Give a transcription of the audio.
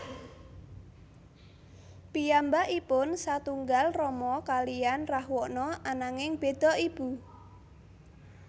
Piyambakipun satunggal rama kaliyan Rahwana ananging beda ibu